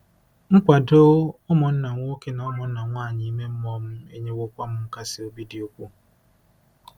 Nkwado ụmụnna nwoke na ụmụnna nwanyị ime mmụọ m enyewokwa m nkasi obi dị ukwuu.